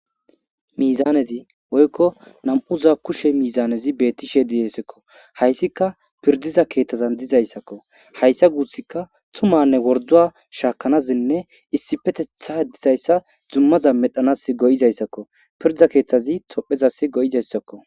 Miizanezi woykko nam'uza kushe miizanezi beettisheedihesekko hayssika pirdiza keeththazan dizayssakko hayssa guussikka tumanne worduwa shaakanazinne issifetetha dizayssa zummaza medhanas go'izayssakko pirda keeththazi tophezas go'izayssakko.